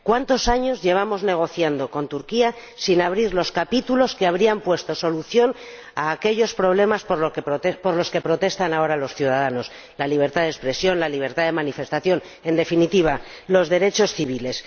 ¿Cuántos años llevamos negociando con Turquía sin abrir los capítulos que habrían puesto solución a aquellos problemas por los que protestan ahora los ciudadanos la libertad de expresión, la libertad de manifestación, en definitiva, los derechos civiles?